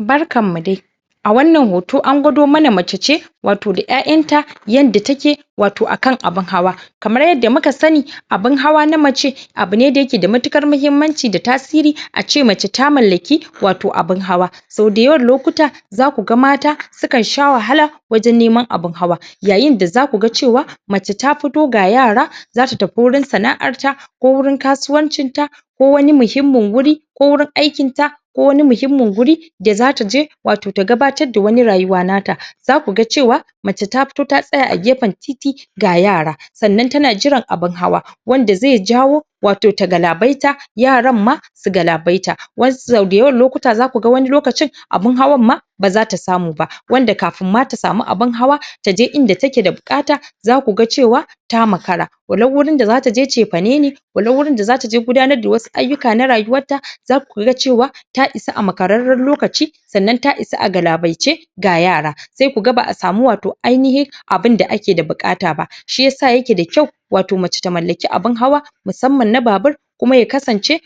Barkan mu dai! A wannan hoto, an gwado mana mace ce wato da ƴaƴanta yanda take wato akan abun hawa. Kamar yadda muka sani, abun hawa na mace abu ne da ya ke da matuƙar mahimmanci da tasiri ace mace ta mallaki wato abun hawa. Sau da yawan lokuta za ku ga mata sukan sha wahala waje neman abun hawa Yayin da za ku ga cewa mace ta fito ga yara za su tafi wurin sana'arta, ko wurin kasuwancita ko wani muhimmin wurin, ko wurin aikinta, ko wani muhimmin wuri da za ta je wato ta gabatar da wani rayuwa nata. Za ku ga cewa mace ta fito ta tsaya a gefen titi ga yara sannan ta na jiran abun hawa. Wanda zai jawo wato ta galabaita, yaran ma su galabaita. Wasu sau da yawan lokuta za ku ga wani lokacin, abun hawan ma ba za ta samu ba. Wanda kafin ma ta samu abun hawan taje inda take da buƙata za ku ga cewa ta makara. Walau wurin da za ta je cefane ne walau wurin da za ta ce gudanar da wasu ayukka na rayuwarta za ku ga cewa ta isa a makararren lokaci sannan ta isa galabaice, ga yara. Sai ku ga ba'a samu wato ainihin abunda ake buƙata ba. Shi yasa ya ke da kyau wato mace ta mallaki abun hawa musamman na babur, kuma ya kasance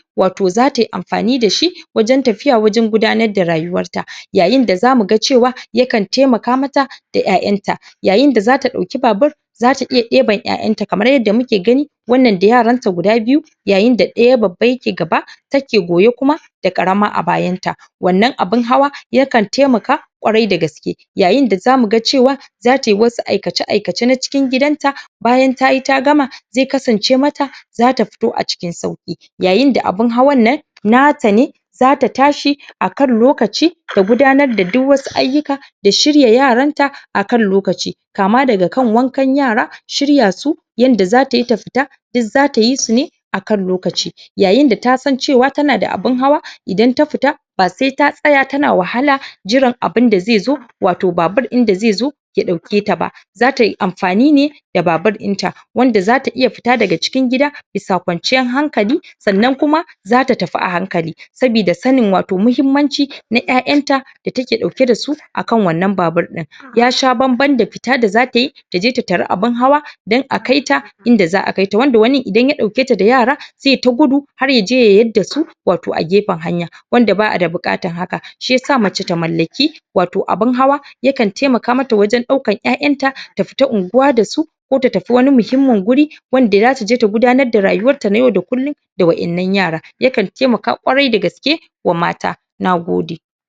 za ta yi amfani da shi wajen tafiya wajen gudanar da rayuwarta. Yayin da za mu ga cewa yakan taimaka mata da ƴaƴanta, yayin da za ta ɗauki babur za ta iya ibar ƴaƴanta kamar yadda muke gani, wannan da yaranta guda biyu yayin da ɗaya babba ya ke gaba, take goye kuma da ƙarama a bayan ta. Wannan abun hawa, yakan taimaka ƙkwarai da gaske. Yayin da za mu ga cewa, za ta yi wasu aikace-aikace na cikin gidan ta bayan tayi ta gama, zai kasance ma ta za ta fito a cikin sauƙi. Yayin da abun hawan nan, na ta ne, za ta tashi akan lokaci ta gudanar da wasu ayukka da shirya yaran ta akan lokaci. Kama daga kan wankan yara, shirya su, yanda za ta yi ta fita, duk za ta yi su ne akan lokaci. Yayin da ta san cewa ta na da abun hawa, idan ta fita ba sai ta tsaya ta na wahala jiran abun da zai zo wato babur ɗin da zai zo ya ɗauke ta ba. Za tayi amfani ne da babur ɗin ta. Wanda za ta iya fita daga cikin gida bisa kwanciyar hankali sannan kuma za ta tafi a hankali. Sabida sanin wato muhimmanci na ƴaƴanta da take ɗauke da su akan wannan babur ɗin. Ya sha bam-ban da fita za ta yi taje ta tari abun hawa dan akai ta inda za'a kaita, Wanda wani idan ya ɗauke ta da yara zai ta gudu har yaje ya yadda su wato a gefen hanya. Wanda ba'a da buƙatan hakan. Shi yasa mace ta mallaki wato abun hawa, yakan taimaka ma ta wajen ɗaukar ƴaƴanta ta fita unguwa da su ko ta tafi wani muhimmin wuri, wanda za taje ta gudanar da rayuwar ta na yau da kullum da waƴannan yara. Yakan taimaka ƙwarai da gaske wa mata. Nagode!